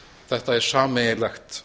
þetta er sameiginlegt